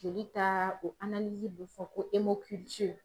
Joli ta o bɛ fɔ ko